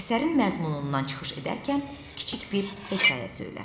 Əsərin məzmunundan çıxış edərkən kiçik bir hekayə söylə.